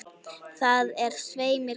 Það er svei mér gott.